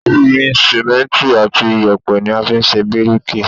Omi, Símẹ́ǹtì àti yèpẹ̀ ni a fi ń ṣe bíríkì.